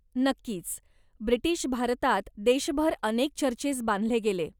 नक्कीच. ब्रिटीश भारतात देशभर अनेक चर्चेस बांधले गेले.